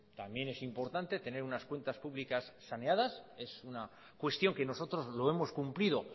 también es importante tener unas cuentas públicas saneadas es una cuestión que nosotros lo hemos cumplido